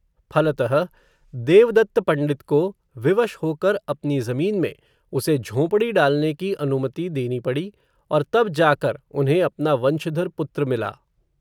फलतः, देवदत्त पण्डित को, विवश हो कर, अपनी ज़मीन में, उसे झोंपड़ी डालने की अनु मति देनी पड़ी, और तब जा कर, उन्हें अपना वंशधर पुत्र मिला